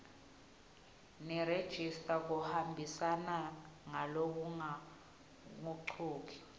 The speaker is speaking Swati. nerejista kuhambisana ngalokungagucuki